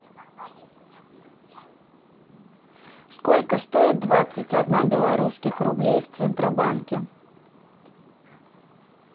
сколько стоит двадцать одна белорусских рублей в центробанке